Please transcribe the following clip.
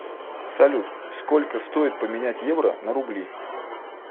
салют сколько стоит поменять евро на рубли